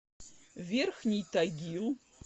верхний тагил